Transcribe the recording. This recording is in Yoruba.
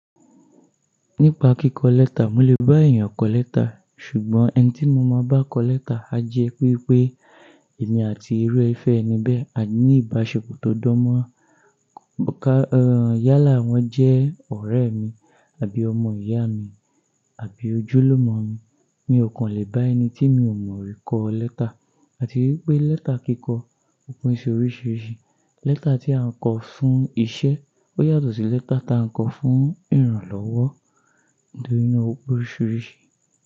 Nípa kíkọ lẹ́tà, mo lè bá èèyàn kọ lẹ́tà, ṣùgbọ́n ẹni tí mo máa bá kọ lẹ́tà a jẹ wípé èmi àti irú ẹfẹ́ ẹni bẹ́ẹ̀, a ní ìbáṣepọ̀ tó dán mọ́ran. Ka, eh, yálà wọ́n jẹ́ ọ̀rẹ́ mi àbí ọmọ ìyá mi, àbí ojúlùmọ̀ mi. Mi ò kàn lè bá ẹni tí mi ò mọ rí kọ lẹ́tà. Àti wípé lẹ́tà kíkọ òpin ṣe oríṣìíríṣìí. Lẹ́tà tí à ń kọ fún iṣẹ́ ó yàtọ̀ sí lẹ́tà ta à ń kọ fún ìrànlọ́wọ́ nítorí náà opé oríṣìíríṣìí.